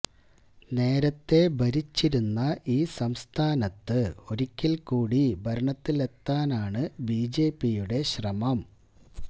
നേരത്തെ ഭരിച്ചിരുന്ന ഈ സംസ്ഥാനത്ത് ഒരിക്കല് കൂടി ഭരണത്തിലെത്താനാണ് ബിജെപിയുടെ ശ്രമം